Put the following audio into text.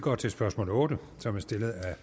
går til spørgsmål otte som er stillet af herre